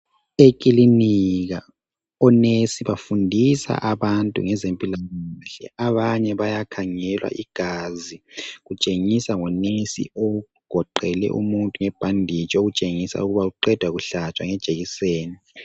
Sekilinika onesi bafundisa abantu ngezempilakahle. Abanye bayakhangelwa igazi. Kutshengisa ngonesi ogoqele umuntu ngebhanditshi okutshengisa ukuba uqeda kuhlatshwa ngejekiseni.